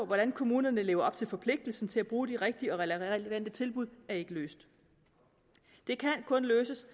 hvordan kommunerne lever op til forpligtelsen til at bruge de rigtige og relevante tilbud er ikke løst det kan kun løses